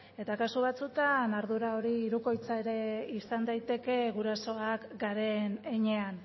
eta kasu batzuetan ardura hori hirukoitza izan daiteke gurasoak garen heinean